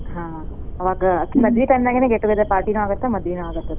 ಹಾ ಅವಾಗ್ ಆಕಿ ಮದ್ವಿ time ನ್ಯಾಗ್ನ್ get together party ನು ಆಗತ್ ಮತ್ತ್ ಮದ್ವಿನೂ ಆಗತ್ತ್ ತಗೋ.